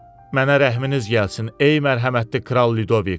Mənə rəhminiz gəlsin, ey mərhəmətli kral Lidovik.